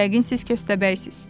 Yəqin siz köstəbəysiz.